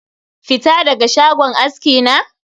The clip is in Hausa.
Fita daga shagon aski na?